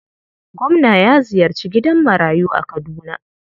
Gwamna ya ziyarci gidan marayu a Kaduna.